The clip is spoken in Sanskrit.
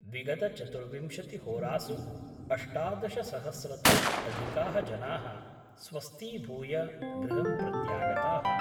विगतचतुर्विंशति होरासु अष्टादशसहस्रतोऽपि अधिकाः जनाः स्वस्थीभूय गृहं प्रत्यागताः।